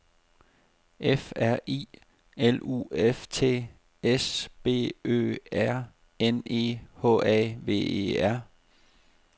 F R I L U F T S B Ø R N E H A V E R